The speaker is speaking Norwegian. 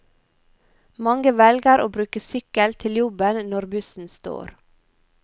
Mange velger å bruke sykkel til jobben når bussen står.